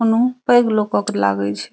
ओनहु पैइग लोगक के लागए छे।